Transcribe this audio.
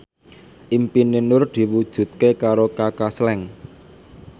impine Nur diwujudke karo Kaka Slank